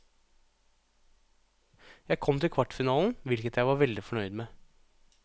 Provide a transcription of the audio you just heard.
Jeg kom til kvartfinalen, hvilket jeg var veldig fornøyd med.